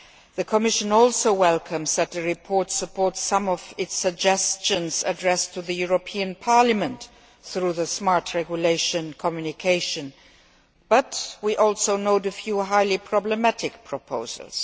The Commission also welcomes the fact that the report supports some of its suggestions addressed to the European Parliament through the Smart Regulation Communication, but we also know about the few highly problematic proposals.